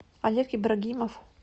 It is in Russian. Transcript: олег ибрагимов